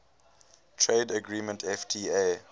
trade agreement fta